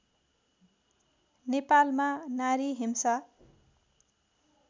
नेपालमा नारी हिंसा